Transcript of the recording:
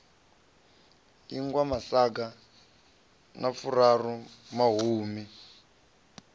ingwa masaga a furaru mahumi